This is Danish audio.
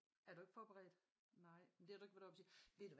Er du ikke forberedt nej det har du ikke været oppe og sige ved du hvad